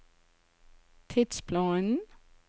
tidsplanen